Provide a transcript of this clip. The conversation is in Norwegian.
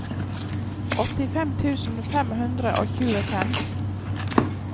åttifem tusen fem hundre og tjuefem